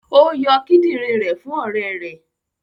Ó yọ kidinrin rẹ̀ fún ọrẹ rẹ